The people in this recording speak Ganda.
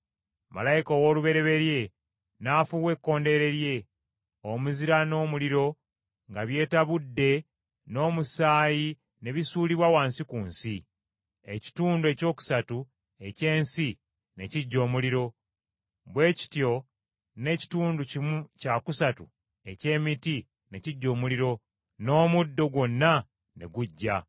Malayika ow’olubereberye n’afuuwa ekkondeere lye, omuzira n’omuliro nga byetabudde n’omusaayi ne bisuulibwa wansi ku nsi. Ekitundu ekyokusatu eky’ensi ne kiggya omuliro, bwe kityo n’ekitundu kimu kya kusatu eky’emiti ne kiggya omuliro, n’omuddo gwonna ne guggya.